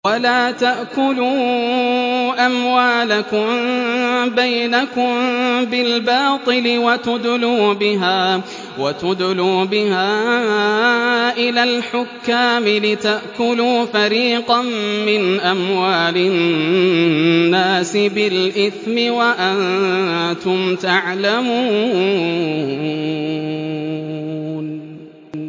وَلَا تَأْكُلُوا أَمْوَالَكُم بَيْنَكُم بِالْبَاطِلِ وَتُدْلُوا بِهَا إِلَى الْحُكَّامِ لِتَأْكُلُوا فَرِيقًا مِّنْ أَمْوَالِ النَّاسِ بِالْإِثْمِ وَأَنتُمْ تَعْلَمُونَ